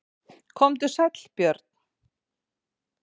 Komdu sæll Björn.